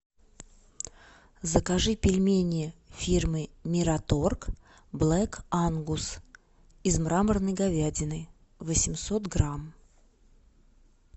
закажи пельмени фирмы мираторг блэк ангус из мраморной говядины восемьсот грамм